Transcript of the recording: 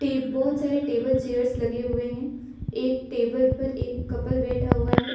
ये बहुत सारे टेबल चेयर्स लगे हुए हैं एक टेबल पर एक कपल बैठा हुआ है।